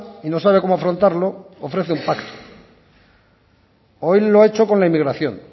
y no sabe cómo afrontarlo ofrece un pacto hoy lo ha hecho con la inmigración